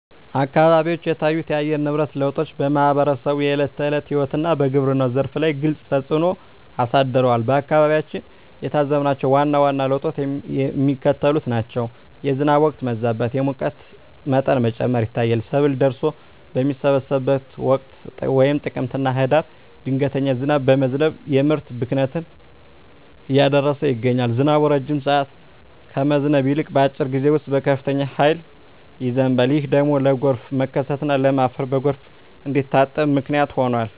አካባቢዎች የታዩት የአየር ንብረት ለውጦች በማኅበረሰቡ የዕለት ተዕለት ሕይወትና በግብርናው ዘርፍ ላይ ግልጽ ተፅእኖ አሳድረዋል። በአካባቢያችን የታዘብናቸው ዋና ዋና ለውጦች የሚከተሉት ናቸው፦ የዝናብ ወቅት መዛባት፣ የሙቀት መጠን መጨመር ይታያል። ሰብል ደርሶ በሚሰበሰብበት ወቅት (ጥቅምትና ህዳር) ድንገተኛ ዝናብ በመዝነብ የምርት ብክነትን እያደረሰ ይገኛል። ዝናቡ ረጅም ሰዓት ከመዝነብ ይልቅ፣ በአጭር ጊዜ ውስጥ በከፍተኛ ኃይል ይዘንባል። ይህ ደግሞ ለጎርፍ መከሰትና ለም አፈር በጎርፍ እንዲታጠብ ምክንያት ሆኗል።